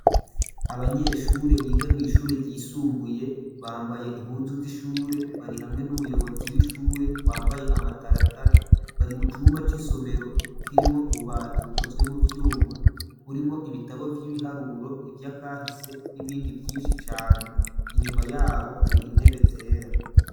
Abanyeshure bigamw'ishure ryisumbuye bambaye impuzu z'ishure bari hamwe n'umuyobozi w'ishure wambaye amataratara, bari mu cumba c'isomero k'irimwo ububati bukozwe mu vyuma burimwo ibitabo vyibiharuro ivyakahise n'ibindi vyinshi cane, inyuma yabo hari intebe zera.